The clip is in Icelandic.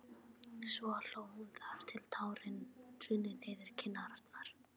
Svo hló hún þar til tárin runnu niður kinnarnar.